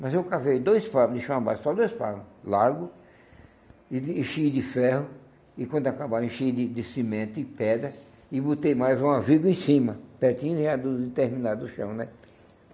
Mas eu cavei dois palmos de chão a baixo, só dois palmo, largo, e de enchi de ferro, e quando acabaram, enchia de de cimento e pedra, e botei mais uma viga em cima, pertinho de de terminar do chão, né?